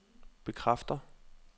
bekræfter